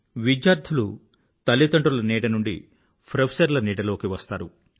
విద్యార్థులు తల్లిదండ్రుల నీడ నుండి ప్రొఫెసర్ల నీడలోకి వస్తారు